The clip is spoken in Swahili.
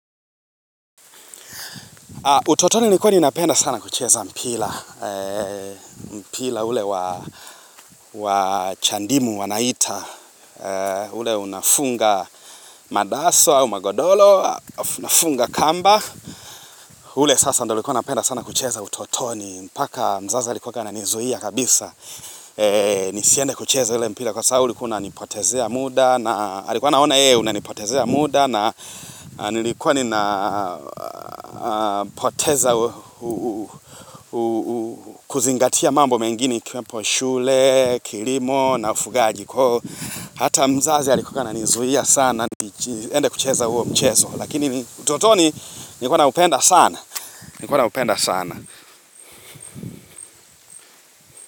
Utotoni nilikuwa ninapenda sana kucheza mpira, mpira ule wa wa chandimu wanaita, ule unafunga madaso au magodoro, halafu unafunga kamba, ule sasa ndo nilikuwa napenda sana kucheza utotoni, mpaka mzazi alikuwaga ana nizuia kabisa, nisiende kucheza ule mpira kwa sababu ulikuwa una nipotezea muda, na alikuwa anaona yeye unanipotezea muda na nilikuwa ninapoteza kuzingatia mambo mengine ikiwapo shule, kilimo na ufugaji kwa Hata mzazi alikuwa ananizuia sana niende kucheza huo mchezo Lakini utotoni nilikuwa naupenda sana.